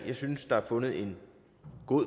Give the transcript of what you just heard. jeg synes der er fundet en god